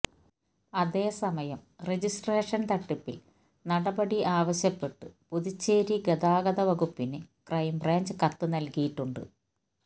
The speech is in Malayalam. അതേ സമയം രജിസ്ട്രേഷൻ തട്ടിപ്പിൽ നടപടി ആവശ്യപ്പെട്ട് പുതുച്ചേരി ഗതാഗത വകുപ്പിന് ക്രൈംബ്രാഞ്ച് കത്ത് നൽകിയിട്ടുണ്ട്